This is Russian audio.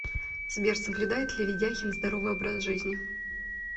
сбер соблюдает ли ведяхин здоровый образ жизни